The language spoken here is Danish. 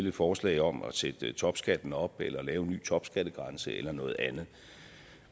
et forslag om at sætte topskatten op eller lave en ny topskattegrænse eller noget andet